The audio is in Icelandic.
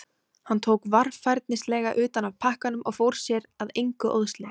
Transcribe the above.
Hann tók varfærnislega utan af pakkanum og fór sér að engu óðslega.